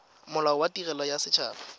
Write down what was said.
molao wa tirelo ya set